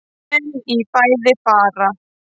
En í fæði fara